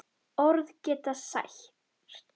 Orð geta sært.